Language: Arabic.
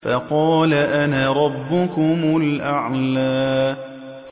فَقَالَ أَنَا رَبُّكُمُ الْأَعْلَىٰ